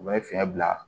U bɛ fiɲɛ bila